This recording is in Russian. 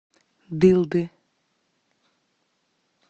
дылды